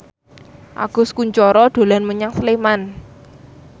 Agus Kuncoro dolan menyang Sleman